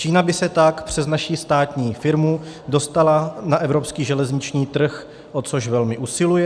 Čína by se tak přes naši státní firmu dostala na evropský železniční trh, o což velmi usiluje.